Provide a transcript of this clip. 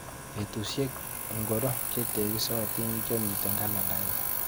Betushek ingoro chetekisotin chemiite kalendainyu?